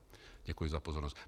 Děkuji za pozornost.